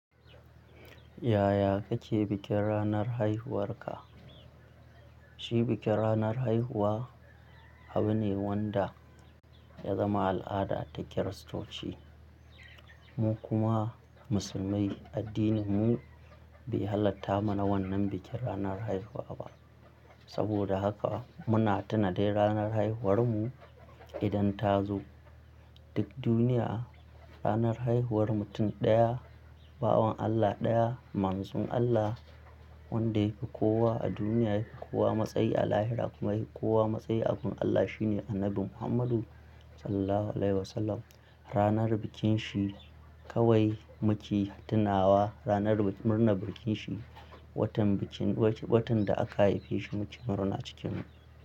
Yaya kake bikin ranar haihuwarka? Shi bikin ranar haihuwa abu ne wanda ya zama al'ada ta Kiristoci. Mu kuma Musulmai addininmu bai halatta mana wannan bikin ranar haihuwa ba. Saboda haka muna tunata dai ranar haihuwarmu idan ta zo. Duk duniya ranar haihuwar mutum ɗaya, bawan Allah ɗaya, Manzun Allah wanda yafi kowa a duniya, yafi kowa matsayi a Lahira kuma yahi kowa matsayi a gun Allah shine Annabi Muhammadu Sallallahu Alaihi Wasallam. Ranar bikin shi kawai muke tunawa ranar murna bikin shi. Watan bikin, watan da aka haife shi muke murna cikin.